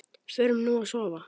Förum nú að sofa.